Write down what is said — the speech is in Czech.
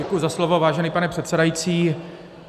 Děkuji za slovo, vážený pane předsedající.